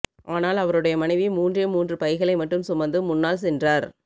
ஆனால் அவருடைய மனைவி மூன்றே மூன்று பைகளை மட்டும் சுமந்து முன்னாள் சென்றார்